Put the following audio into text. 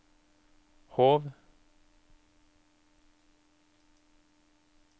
Hov